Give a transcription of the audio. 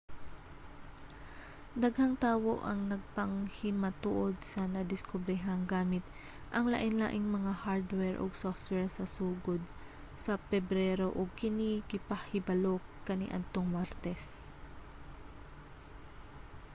daghang tawo ang nagpanghimatuod sa nadiskobrehan gamit ang lainlaing mga hardware ug software sa sugod sa pebrero ug kini gipahibalo kaniadtong martes